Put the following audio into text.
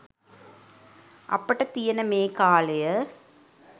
අපට තියෙන මේ කාලය